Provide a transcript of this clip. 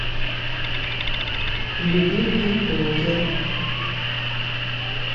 любимые блогеры